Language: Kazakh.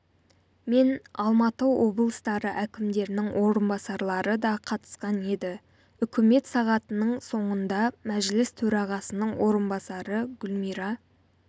мен алматы облыстары әкімдерінің орынбасарлары да қатысқан еді үкімет сағатының соңында мәжіліс төрағасының орынбасары гүлмира